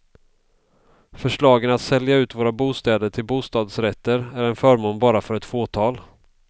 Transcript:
Förslagen att sälja ut våra bostäder till bostadsrätter är en förmån bara för ett fåtal.